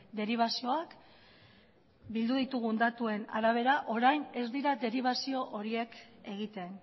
deribazioak bildu ditugun datuen arabera orain ez dira deribazio horiek egiten